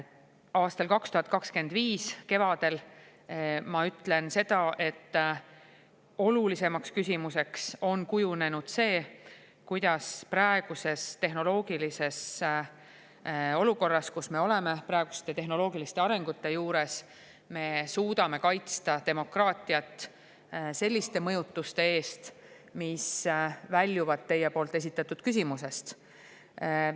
Aasta 2025 kevadel ma ütlen seda, et olulisemaks küsimuseks on kujunenud see, kuidas me praeguses tehnoloogilises olukorras, praeguste tehnoloogiliste arengute juures suudame kaitsta demokraatiat selliste mõjutuste eest, mis teie esitatud küsimusest välja.